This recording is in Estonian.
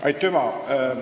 Aitüma!